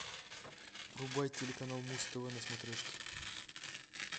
врубай телеканал муз тв на смотрешке